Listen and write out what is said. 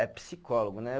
É psicólogo, né?